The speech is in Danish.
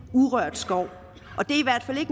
urørt skov